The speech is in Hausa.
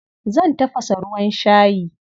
Zan tafasa ruwan shayi.